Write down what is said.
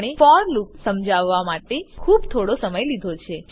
આપણે for loop માટે સમજાવવા માટે ખૂબ થોડો સમય લીધો છે